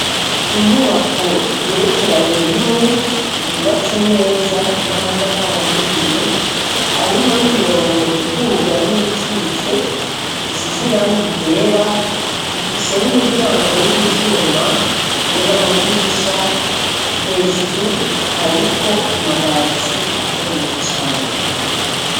Inyubako igerekeranye rimwe yubatse neza n'amatafari ahiye arimwo n'imirongo iduga n'iyikitse isize irangi ryera ifise n'imiryango y'ivyuma be n'amadirisha hejuru hariko amabati akomeye cane.